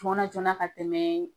Fɔɔ ɔ sina ka tɛmɛ